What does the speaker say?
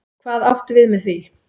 Hvað áttu við með því?